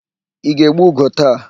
Ị ga-egbu ugo taa?